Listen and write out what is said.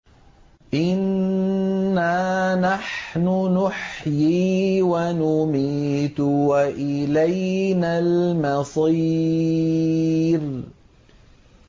إِنَّا نَحْنُ نُحْيِي وَنُمِيتُ وَإِلَيْنَا الْمَصِيرُ